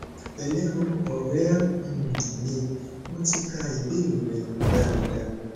pẹlẹ o ọrẹ um mi mo ti ka ibeere rẹ daradara